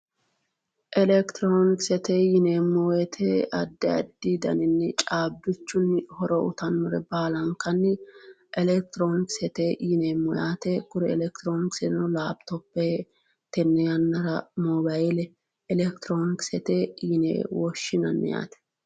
elekitiroonikesete yineemmo wote addi addi daninni caabbichunni horo uuyiitannore baalankanni elekitiroonikisete yineemmo yaate, elekitiroonikiseno laapitope, tenne yannara mobaayiile elekitiroonikisete yine woshshinanni yaate.